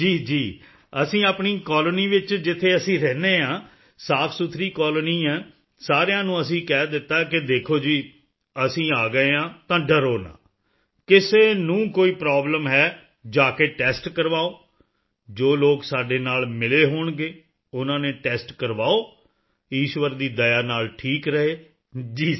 ਜੀ ਜੀ ਅਸੀਂ ਆਪਣੀ ਕਲੋਨੀ ਵਿੱਚ ਜਿੱਥੇ ਅਸੀਂ ਰਹਿੰਦੇ ਹਾਂ ਸਾਫ਼ਸੁਥਰੀ ਕਲੋਨੀ ਹੈ ਸਾਰਿਆਂ ਨੂੰ ਅਸੀਂ ਕਹਿ ਦਿੱਤਾ ਹੈ ਕਿ ਦੇਖੋ ਜੀ ਅਸੀਂ ਆ ਗਏ ਹਾਂ ਤਾਂ ਡਰੋ ਨਾ ਕਿਸੇ ਨੂੰ ਕੋਈ ਪ੍ਰੋਬਲਮ ਹੈ ਜਾ ਕੇ ਟੈਸਟ ਕਰਵਾਓ ਜੋ ਲੋਕ ਸਾਡੇ ਨਾਲ ਮਿਲੇ ਹੋਣਗੇ ਉਨ੍ਹਾਂ ਨੇ ਟੈਸਟ ਕਰਵਾਏ ਈਸ਼ਵਰ ਦੀ ਦਇਆ ਨਾਲ ਠੀਕ ਰਹੇ ਜੀ ਸਰ